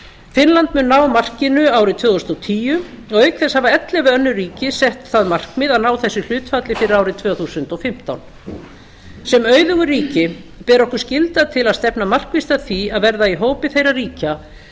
finnland mun ná markinu árið tvö þúsund og tíu og auk þess hafa ellefu önnur ríki sett það markmið að ná þessu hlutfalli fyrir árið tvö þúsund og fimmtán sem auðugu ríki ber okkur skylda til að stefna markvisst að því að verða í hópi þeirra ríkja